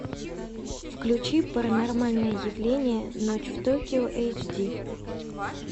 включи паранормальные явления ночь в токио эйч ди